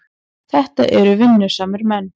Þetta eru vinnusamir menn.